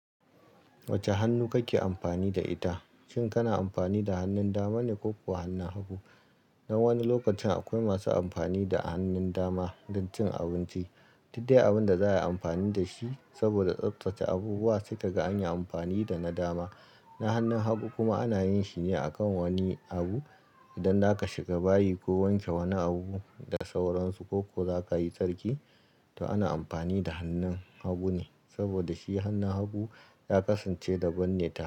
Wacce hannu kake amfani da ita, shin kana amfani da hannun dama ne ko kuwa hannun hagu? Dan wani lokacin akwai masu amfani da hannun dama don cin abinci, duk dai abin da za ai amfani da shi saboda tsaftace abu ba sai ka ga an yi amfani da na dama. Na hannun hagu kuma ana yin shi ne a kan wani abu idan za ka shiga bayi ko wanke wani abu da sauransu ko kuwa za ka yi sarki, to ana amfani da hannun hagu ne saboda shi hannun hagu ya kasance da ban ne ta.